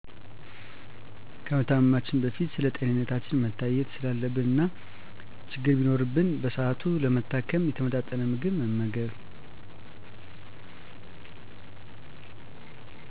ከመታመማችን በፊት ስለጤንነታችን መታየት ስላለብን እና ችግር ቢኖርብን በስሃቱ ለመታከም። የተመጣጠነ ምግብ መመገብ